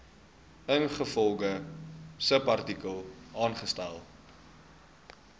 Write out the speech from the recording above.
ingevolge subartikel aangestel